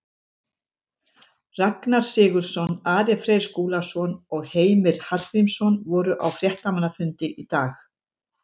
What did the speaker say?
Ragnar Sigurðsson, Ari Freyr Skúlason og Heimir Hallgrímsson voru á fréttamannafundi í dag.